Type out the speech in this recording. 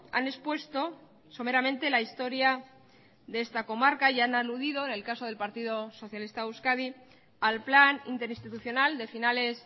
han expuesto someramente la historia de esta comarca y han aludido en el caso del partido socialista de euskadi al plan interinstitucional de finales